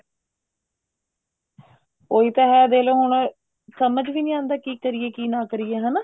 ਉਹੀ ਤਾਂ ਹੈ ਦੇਖਲੋ ਹੁਣ ਸਮਝ ਵੀ ਨੀ ਆਉਂਦਾ ਕੀ ਕਰੀਏ ਕੀ ਨਾ ਕਰੀਏ ਹਨਾ